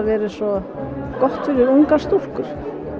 vera svo gott fyrir ungar stúlkur